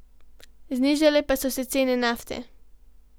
Znižale pa so se cene nafte.